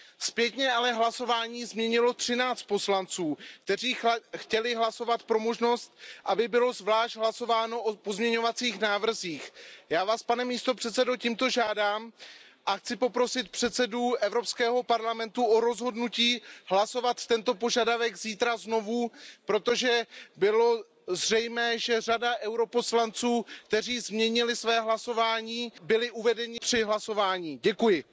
Zpětně ale hlasování změnilo 13 poslanců, kteří chtěli hlasovat pro možnost, aby bylo zvlášť hlasováno o pozměňovacích návrzích. Já Vás, pane předsedající, tímto žádám a chci poprosit předsedu Evropského parlamentu o rozhodnutí hlasovat o tomto požadavku zítra znovu, protože bylo zřejmé, že řada poslanců EP, kteří změnili své hlasování, byli při hlasování uvedeni v omyl.